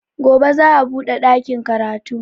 Gobe za a buɗe ɗakin karatu